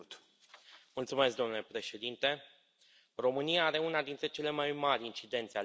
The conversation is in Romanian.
Domnule președinte, România are una dintre cele mai mari incidențe ale cancerului.